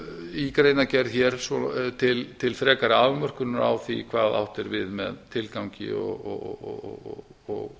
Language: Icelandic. í greinargerð til frekari afmörkunar á því hvað átt er við með tilgangi